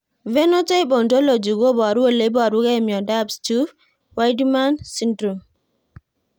Phenotype ontology koparu ole iparukei miondopStuve Wiedemann syndrome